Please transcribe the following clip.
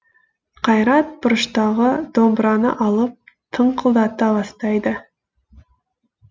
қайрат бұрыштағы домбыраны алып тыңқылдата бастайды